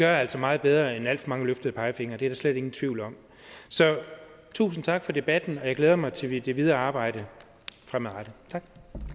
altså meget bedre end alt for mange løftede pegefingre det er der slet ingen tvivl om så tusind tak for debatten og jeg glæder mig til det videre arbejde fremadrettet tak